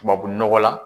Tubabu nɔgɔ la